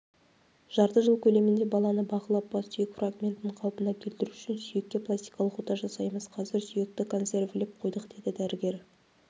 жарты жыл көлемінде баланы бақылап бас сүйек фрагментін қалпына келтіру үшін сүйекке пластикалық ота жасаймыз қазір сүйекті консервілеп қойдық деді дәрігер